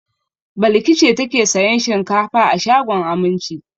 Balki ce take sayan shinkafa a shagon Aminci.